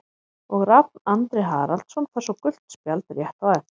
Og Rafn Andri Haraldsson fær svo gult spjald rétt á eftir.